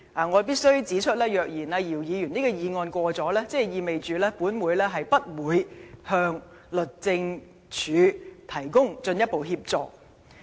我必須指出，若姚議員的議案獲得通過，即意味本會將不會向律政司提供進一步協助。